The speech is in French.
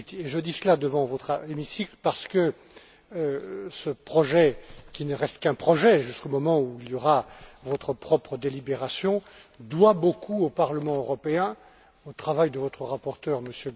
Je dis cela devant votre hémicycle parce que ce projet, qui ne reste qu'un projet jusqu'au moment où il y aura votre propre délibération, doit beaucoup au Parlement européen, au travail de votre rapporteur, M.